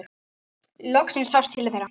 Loksins sást til þeirra.